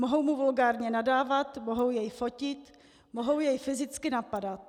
Mohou mu vulgárně nadávat, mohou jej fotit, mohou jej fyzicky napadat.